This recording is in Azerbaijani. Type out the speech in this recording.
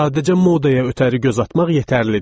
Sadəcə modaya ötəri göz atmaq yetərlidir.